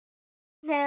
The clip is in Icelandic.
Þín Heiða.